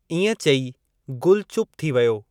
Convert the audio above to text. इएं चई, गुलु चुप थी वियो।